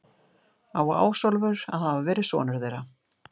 Á Ásólfur að hafa verið sonur þeirra.